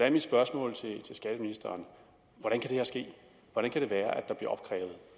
er mit spørgsmål til skatteministeren hvordan kan det